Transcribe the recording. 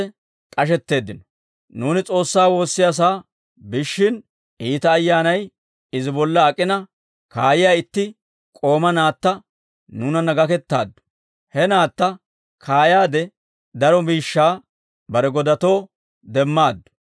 Nuuni S'oossaa woossiyaasaa biishshin, iita ayyaanay izi bolla ak'ina kaayiyaa itti k'ooma naatta nuunanna gakettaaddu; he naatta kaayaade daro miishshaa bare godatoo demmaaddu.